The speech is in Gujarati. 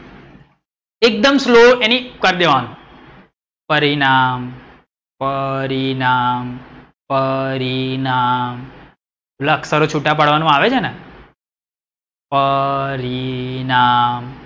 એક દમ slow એની એ કરી દેવાનું, પરિણામ, પરિણામ, પરિણામ, પેલા અક્ષરો છૂટા પાડવાનું આવે છે ને! પરિણામ.